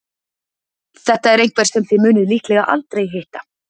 Þetta er einhver sem þið munið líklega aldrei hitta.